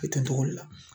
A bɛ kɛ togo di